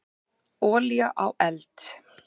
Olía á eld.